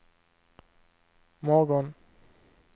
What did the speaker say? morgon